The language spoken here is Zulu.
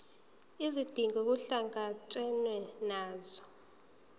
izidingo kuhlangatshezwane nazo